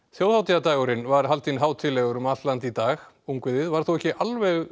þjóðhátíðardagurinn var haldinn hátíðlegur um allt land í dag ungviðið var þó ekki alveg